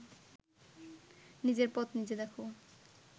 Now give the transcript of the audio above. নিজের পথ নিজে দেখ